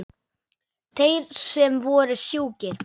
Þeir sem voru sjúkir.